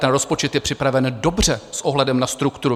Ten rozpočet je připraven dobře s ohledem na strukturu.